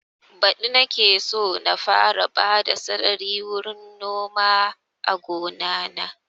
Badi nake so na fara bada sarari wurin noma a gona na